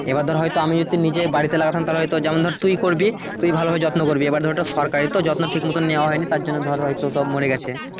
এইবার ধরে আমি হয়তো যে বাড়িতে লাগাতাম যেমন মরে তুই করবি তুইও ভালো করে যত্ন করবি এইবার ধর সরকারি তো যত্ন ঠিক মতন নেয়া হয়নি তার জন্যে ধর হয়তো সব মরে গেছে।